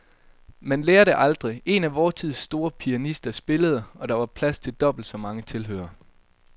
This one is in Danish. Men han lærer det aldrig. En af vor tids store pianister spillede, og der var plads til dobbelt så mange tilhørere.